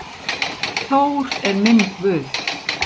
Þór er minn guð.